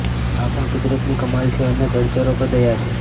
આ પણ કુદરતની કમાલ છે અને જળચરો પર દયા છે